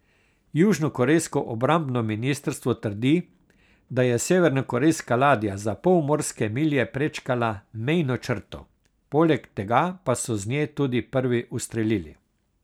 Južnokorejsko obrambno ministrstvo trdi, da je severnokorejska ladja za pol morske milje prečkala mejno črto, poleg tega pa so z nje tudi prvi ustrelili.